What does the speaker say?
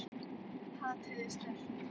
Hatrið er sterkt.